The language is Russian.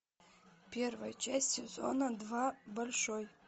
первая часть сезона два большой